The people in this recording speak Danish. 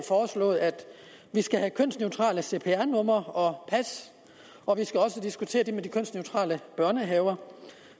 foreslået at vi skal have kønsneutrale cpr numre og pas og vi skal også diskutere det med de kønsneutrale børnehaver